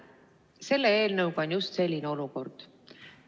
Selle eelnõuga on just selline olukord.